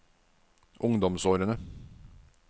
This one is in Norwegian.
ungdomsårene